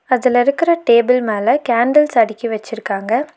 அதுல இருக்குற டேபிள் மேல கேண்டில்ஸ் அடுக்கி வச்சுருக்காங்க.